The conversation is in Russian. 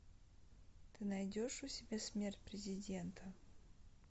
ты найдешь у себя смерть президента